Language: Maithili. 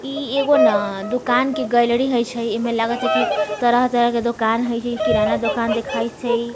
इ एगो न दुकान के गैलरी होय छै इ में लागे छै की तरह-तरह के दुकान हेय छै किराना दोकान देखाय हेय छै।